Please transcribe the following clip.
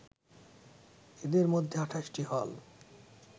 এদের মধ্যে ২৮ টি হল